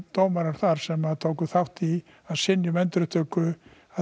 dómarar þar sem tóku þátt í að synja endurupptöku